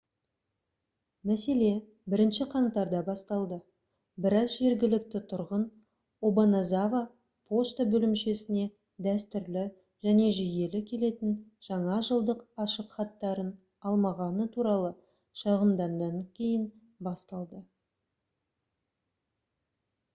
мәселе 1-ші қаңтарда басталды біраз жергілікті тұрғын обаназава пошта бөлімшесіне дәстүрлі және жүйелі келетін жаңа жылдық ашықхаттарын алмағаны туралы шағымданғаннан кейін басталды